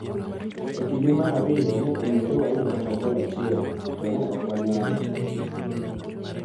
E kinde mar ariyo ne owinjore wayud kata gol achiel to ne ok wanyalo.